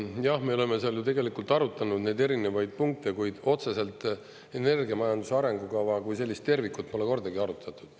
Jah, me oleme seal ju tegelikult arutanud neid erinevaid punkte, kuid otseselt energiamajanduse arengukava kui sellist tervikut pole kordagi arutatud.